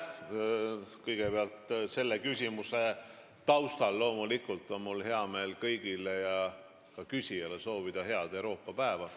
Kõigepealt on mul loomulikult hea meel soovida selle küsimuse taustal kõigile, sh küsijale, head Euroopa päeva.